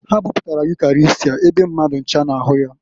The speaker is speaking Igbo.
Ha buputara Ukarịstịa ebe mmadụ ncha na-ahụ ya.